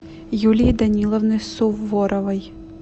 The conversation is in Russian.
юлии даниловны суворовой